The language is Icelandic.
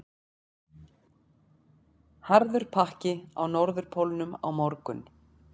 Harður pakki á Norðurpólnum á morgun